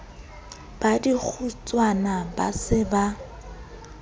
ba dikgotswana ba se ba